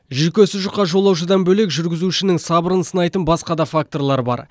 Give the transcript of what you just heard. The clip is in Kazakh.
жүйкесі жұқа жолаушыдан бөлек жүргізушінің сабырын сынайтын басқа да факторлар бар